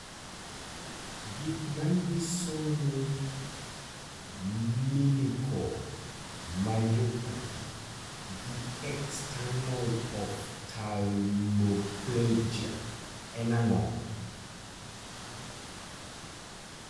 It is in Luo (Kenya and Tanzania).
Gik manyiso ni Minicore myopathy gi external ophthalmoplegia en ang'o?